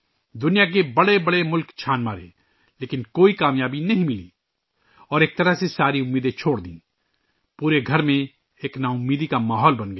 دنیا کے بڑے بڑے ممالک میں تلاش کیا لیکن کامیابی نہ ملی اور ایک طرح سے تمام امیدیں چھوڑ کر پورے گھر میں مایوسی کا ماحول چھا گیا